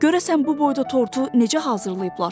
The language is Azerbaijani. Görəsən bu boyda tortu necə hazırlayıblar?